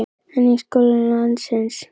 En í skólum landsins?